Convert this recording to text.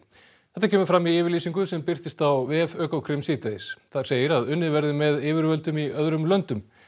þetta kemur fram í yfirlýsingu sem birtist á vef Ökokrim síðdegis þar segir að unnið verði með yfirvöldum í öðrum löndum